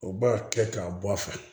U b'a kɛ k'a bɔ a fɛ